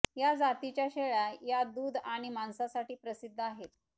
या जातीच्या शेळ्या या दूध आणि मांसासाठी प्रसिद्ध आहेत